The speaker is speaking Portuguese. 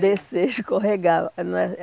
Descer e escorregar.